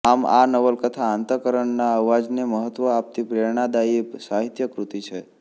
આમ આ નવલકથા અંતકરણના અવાજને મહત્વ આપતી પ્રેરણાદાયી સાહિત્યકૃતિ છે